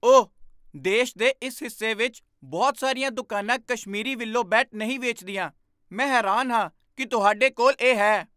ਓਹ! ਦੇਸ਼ ਦੇ ਇਸ ਹਿੱਸੇ ਵਿੱਚ ਬਹੁਤ ਸਾਰੀਆਂ ਦੁਕਾਨਾਂ ਕਸ਼ਮੀਰੀ ਵਿਲੋ ਬੈਟ ਨਹੀਂ ਵੇਚਦੀਆਂ। ਮੈਂ ਹੈਰਾਨ ਹਾਂ ਕਿ ਤੁਹਾਡੇ ਕੋਲ ਇਹ ਹੈ।